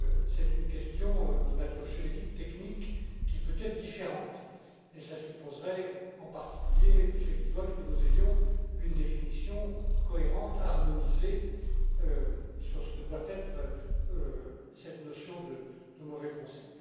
C'est une question de nature juridique technique qui peut être différente et cela supposerait, en particulier, Monsieur Giegold, que nous ayons une définition cohérente harmonisée sur ce que doit être cette notion de mauvais conseil.